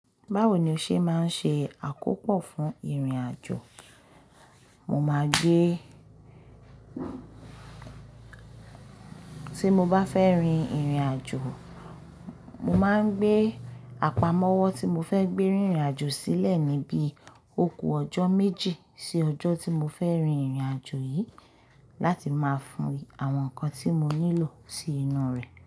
Báwo ni o ṣe máa ń ṣe àkópò fún ìrìnàjò? Mo máa gbé, tí mo bá fẹ́ rin ìrìnàjò, mo máa ń gbé àpamọ́wọ́ tí mo fẹ́ gbé rin ìrìnàjò sílẹ̀ níbi oku ọjọ́ méjì sí ọjọ́ tí mo fẹ́ rin ìrìnàjò yìí láti máa fi àwọn nǹkan tí mo nílò sí inú rẹ̀